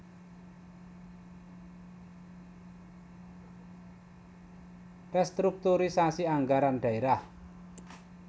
Restrukturisasi Anggaran Daerah